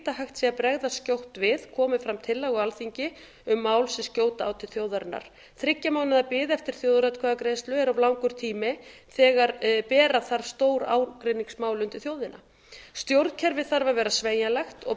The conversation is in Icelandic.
að hægt sé að bregðast skjótt við komi fram tillaga á alþingi um mál sem skjóta á til þjóðarinnar þriggja mánaða bið eftir þjóðaratkvæðagreiðslu er of langur tími þegar bera þarf stór ágreiningsmál undir þjóðina stjórnkerfið þarf að vera sveigjanlegt og